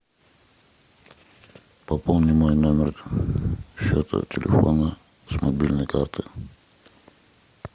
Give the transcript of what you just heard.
пополни мой номер счета телефона с мобильной карты